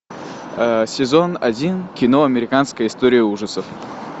сезон один кино американская история ужасов